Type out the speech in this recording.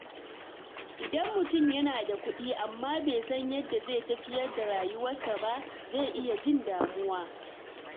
Idan mutum yana da kuɗi amma bai san yadda zai tafiyar da rayuwarsa ba, zai iya jin damuwa.